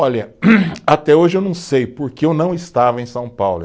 Olha, até hoje eu não sei porque eu não estava em São Paulo.